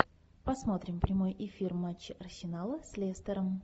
посмотрим прямой эфир матча арсенала с лестером